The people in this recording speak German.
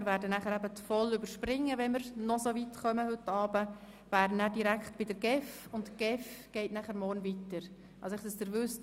Wir werden die Themen der VOL überspringen und kämen, falls wir das heute Abend schaffen, direkt zur GEF.